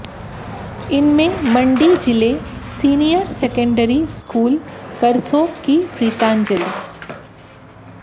इनमें मंडी जिले senior secondary school Karsog की प्रीतांजलि